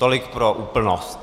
Tolik pro úplnost.